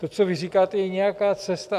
To, co vy říkáte, je nějaká cesta.